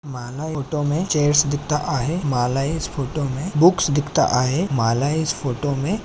माला इस फोटो मे चेअर्स दिखता आहे. माला इस फोटो मे बुक्स दिखता आहे. माला इस फोटो मे--